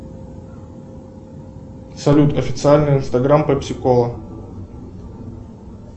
салют официальный инстаграм пепси кола